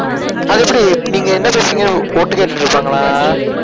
அதெப்படி நீங்க என்ன பேசுறீங்கன்னு ஓட்டு கேட்டுட்டு இருப்பாங்களா? அஹ்